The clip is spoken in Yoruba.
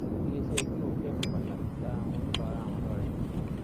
iléeṣẹ glo febun pàtàkì ta àwọn oníbàárà wọn lọrẹ